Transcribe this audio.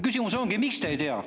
Küsimus ongi, miks te ei tea.